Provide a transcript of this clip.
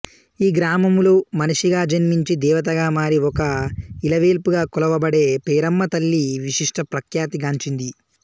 యీ గ్రామములో మనిషిగా జన్మించి దేవతగా మారి ఒక యిలవేల్పుగా కొలవబడే పేరమ్మతల్లి విశిష్ట ప్రఖ్యాతి గాంచింది